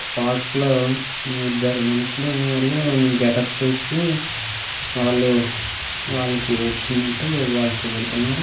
Park లో ఇద్దరు మనుషులు ఆళ్ళు గెటప్స్ వేసి వాళ్ళు వాళ్ళకి వచ్చినట్టు వాళ్ళు చూపెడుతున్నారు.